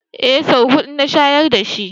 Eh, sau huɗu na shayar dashi